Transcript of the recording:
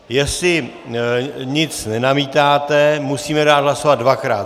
Jestli nic nenamítáte, musíme dát hlasovat dvakrát.